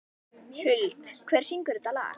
Huld, hver syngur þetta lag?